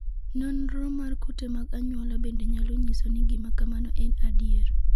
Nonro mar kute mag anyuola bende nyalo nyiso ni gima kamano en adier.